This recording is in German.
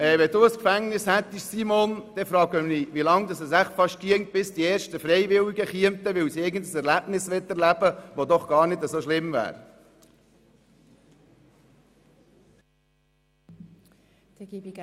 Wenn du, Simone, ein Gefängnis hättest, würde ich mich fragen, wie lange es dauert, bis die ersten Freiwilligen kommen, weil sie etwas erleben möchten, das doch gar nicht so schlimm ist.